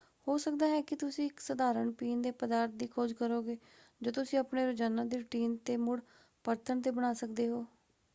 ਹੋ ਸਕਦਾ ਹੈ ਕਿ ਤੁਸੀਂ ਇੱਕ ਸਧਾਰਣ ਪੀਣ ਦੇ ਪਦਾਰਥ ਦੀ ਖੋਜ ਕਰੋਗੇ ਜੋ ਤੁਸੀਂ ਆਪਣੇ ਰੋਜ਼ਾਨਾ ਦੇ ਰੁਟੀਨ 'ਤੇ ਮੁੜ ਪਰਤਣ 'ਤੇ ਬਣਾ ਸਕਦੇ ਹੋ।